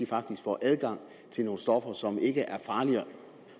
faktisk får adgang til nogle stoffer som ikke er farligere